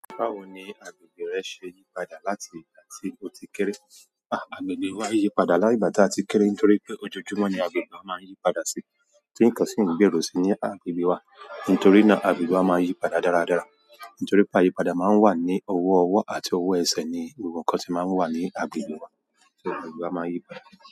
Báwo ni agbègbè rẹ ṣe yí padà láti ìgbà tí o ti kéré? À, agbègbè wa yí padà láti ìgbà tàa ti kéré nítorí pé ojoojúmọ́ ni agbègbè wa máa ń yí padà sí. Tí nǹkan sì ń gbèrú sí ní agbègbè wa. Nítorí náà agbègbè wa máa ń yí padà dáradára. Nítorí pé àyípadà máa ń wà ní owó ọwọ́ àti owó ẹsẹ̀ ni gbogbo nǹkan tí máà ń wà ní abìlù. So agbègbè wa máa ń yí padà.